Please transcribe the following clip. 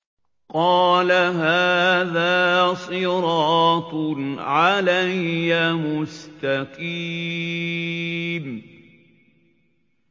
قَالَ هَٰذَا صِرَاطٌ عَلَيَّ مُسْتَقِيمٌ